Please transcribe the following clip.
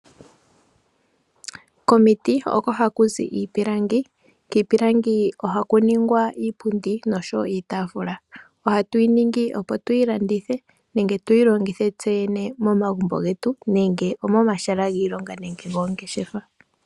Komiti oko haku zi iipilangi. Kiipilangi ohaku ningwa iipundi nosho wo iitaafula. Ohatu yi ningi opo tuyi landithe nenge tuyi longithe tse yene momagumbo getu nenge momahala giilonga nenge goongeshefa.